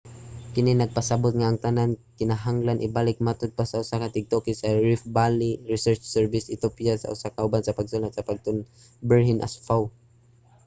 kini nagpasabot nga ang tanan kay kinahanglan ibalik, matod pa sa usa ka tigtuki sa riff valley research service sa ethiopia ug usa ka kauban sa pagsulat sa pagtulon-an berhane asfaw